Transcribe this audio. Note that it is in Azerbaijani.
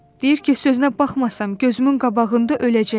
Deyir ki, sözünə baxmasam, gözümün qabağında öləcək.